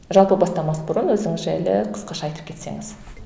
жалпы бастамас бұрын өзіңіз жайлы қысқаша айтып кетсеңіз